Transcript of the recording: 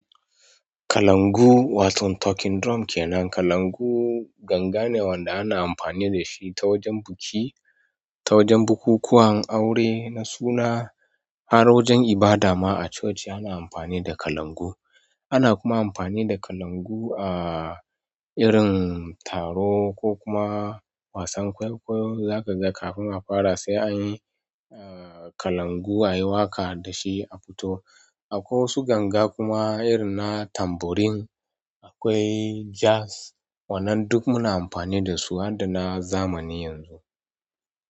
Kalangu, waton talking drum kenan. Kalangu gangane wanda ana amfani da shi ta wajen biki, ta wajen bukukuwan aure na suna, har wajen ibada ma a coci ana amfani da kalangu. Ana kuma amfani da kalangu a irin taro ko kuma wasan kwaikwayo zaka ga kafin a fara sai anyi, ah kalangu ai waƙa da shi a fito. Akwai wasu ganga kuma irin na tambourine, akwai jazz, wannan duk muna amfani da su har da na zamani yanzu.